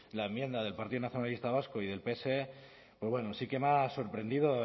la enmienda del partido nacionalista vasco y del pse pues bueno sí que me ha sorprendido